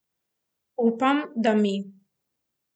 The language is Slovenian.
Upam, da mi.